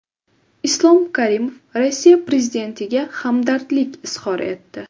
Islom Karimov Rossiya prezidentiga hamdardlik izhor etdi.